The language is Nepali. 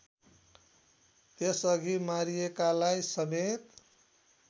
त्यसअघि मारिएकालाई समेत